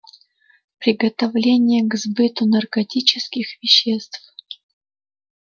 приготовление к сбыту наркотических веществ